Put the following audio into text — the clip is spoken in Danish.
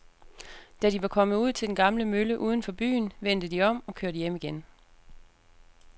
Da de var kommet ud til den gamle mølle uden for byen, vendte de om og kørte hjem igen.